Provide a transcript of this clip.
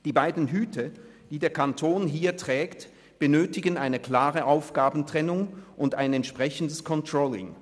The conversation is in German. Die beiden Hüte, die der Kanton hier trägt, benötigen eine klare Aufgabentrennung und ein entsprechendes Controlling.